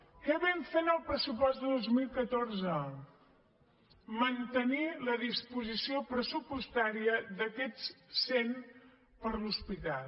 què vam fer en el pressupost de dos mil catorze mantenir la disposició pressupostària d’aquests cent per a l’hospital